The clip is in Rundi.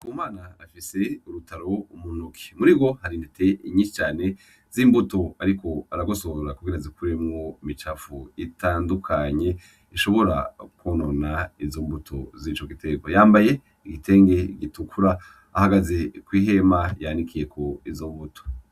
Uyu mwana afise urutaro mu ntoke, murirwo hari intete nyinshi cane z'imbuto ariko aragosora kugira azikuremwo imicafu itandukanye ishobora konona izo mbuto zico gitegwa, yambaye igitenge gitukura, ahagaze kw'ihema ryanikiyeko izo mbuto.